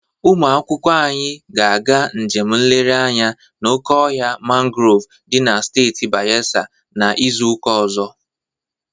Ụmụ akwụkwọ anyị ga-aga njem nlere anya na oke ọhịa mangrov dị na steeti Bayelsa na izuụka ọzọ